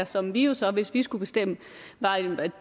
som jo så hvis vi skulle bestemme